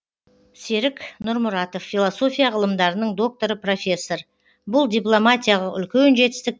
серік нұрмұратов философия ғылымдарының докторы профессор бұл дипломатиялық үлкен жетістік